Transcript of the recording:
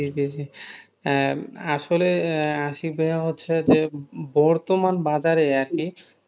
জি জি, আহ আসলে আহ আশিক ভাইয়া হচ্ছে যে বর্তমান বাজারে আরকি,